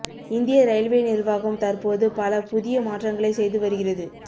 இந்திய ரயில்வே நிர்வாகம் தற்போது பல புதிய மாற்றங்களை செய்து வறிகிறது